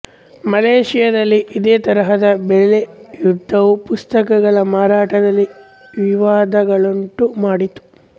ಮಲೇಶಿಯಾದಲ್ಲಿ ಇದೇ ತರಹದ ಬೆಲೆ ಯುದ್ಧವು ಪುಸ್ತಕಗಳ ಮಾರಾಟದಲ್ಲಿ ವಿವಾದಗಳನ್ನುಂಟು ಮಾಡಿತು